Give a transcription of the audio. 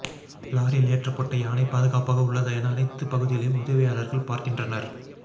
லாரியில் ஏற்றப்பட்ட யானை பாதுக்காப்பாக உள்ளதா என அனைத்து பகுதிகளையும் உதவியாளர்கள் பார்க்கின்றனர்